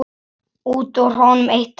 Út úr honum eitt hár.